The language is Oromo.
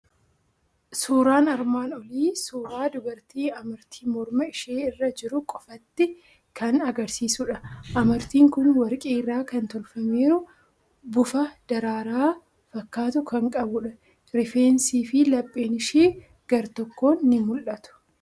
Suuraan armaan olii suuraa dubartii amartii morma ishee irra jiru qofaatti kan argisiisudha. Amartiin kun warqii irraa kan tolfameeru, bufa daraaraa fakkaatu kan qabudha. Rifeensii fi lapheen ishii gartokkoon ni mul'atu.